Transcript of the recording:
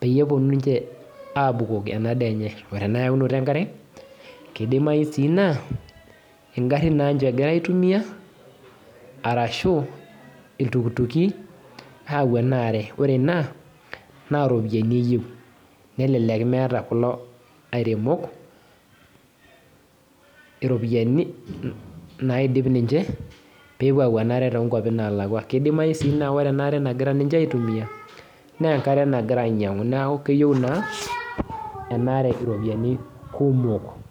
pepuo ninche apik enadaa enye ,enayaunoto enkare kidimayu na ngarin egira aitumia arashu ltukutuki ayau enaare ore ena na ropiyani eyieu nelelek meeta kulo aremok iropiyiani naidip ninche pepuo ayau enaare tonkwapi nalakwa nakidimayi ore enaare nagira ninche aitumia na enkare nagira ainyangu nakeyieu na enaare ropiyani kumok.